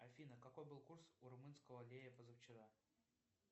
афина какой был курс у румынского лея позавчера